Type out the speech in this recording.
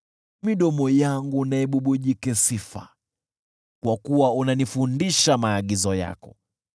Midomo yangu na ibubujike sifa, kwa kuwa unanifundisha maagizo yako.